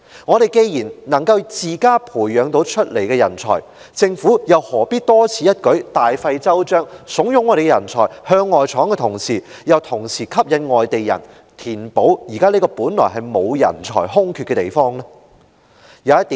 我們既然能自家培養人才，政府又何必多此一舉、大費周章，慫恿我們的人才向外闖，同時又吸引外地人來填補現時這個原本並無人才空缺的地方？